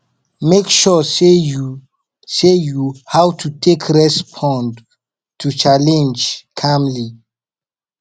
mek sure sey yu sey yu how to take respond to challenge calmly